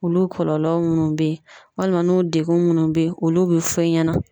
Olu kɔlɔlɔ munnu bɛ ye walima n'u degun munnu bɛ ye olu bɛ fɔ i ɲɛna.